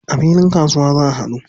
A filin kasuwa za a haɗu.